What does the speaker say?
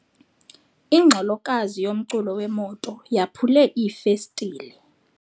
Ingxolokazi yomculo wemoto yaphule iifestile.